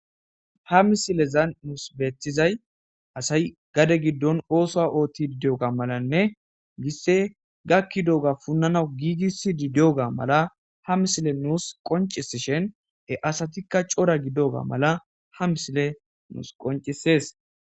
ha misilezan muus beetizay asay gade giddon ooso ootti didiyoga malanne gisse gakki dooga punnanawu giigis di dioga mala ha misile nuus qoncisishen e asatikka cora gidoga mala ha misile nuus qoncisees